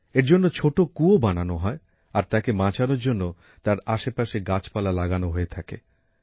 এর জন্য ছোট কুয়ো বানানো হয় আর তাকে বাঁচানোর জন্য তার আশেপাশে গাছপালা লাগানো হয়ে থাকে